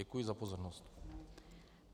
Děkuji za pozornost.